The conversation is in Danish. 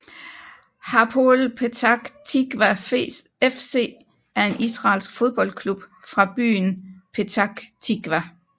Hapoel Petach Tikvah FC er en israelsk fodboldklub fra byen Petach Tikvah